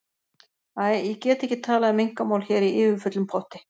Æ, ég get ekki talað um einkamál hér í yfirfullum potti.